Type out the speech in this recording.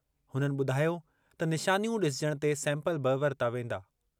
हुननि ॿुधायो त निशानियूं ॾिसजणु ते सैंपल बि वरिता वेंदा।